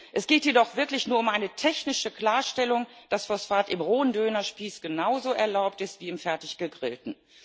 Es geht hier doch wirklich nur um eine technische Klarstellung, dass Phosphat im rohen Dönerspieß genauso erlaubt ist wie im fertig gegrillten.